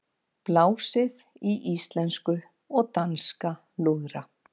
Blásið í íslenska og danska lúðra